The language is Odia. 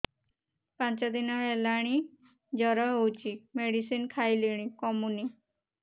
ପାଞ୍ଚ ଦିନ ହେଲାଣି ଜର ହଉଚି ମେଡିସିନ ଖାଇଲିଣି କମୁନି